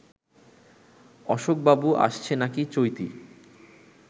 অশোক বাবু আসছে নাকি চৈতি